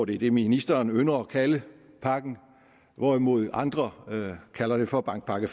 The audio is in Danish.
det er det ministeren ynder at kalde pakken hvorimod andre kalder den for bankpakke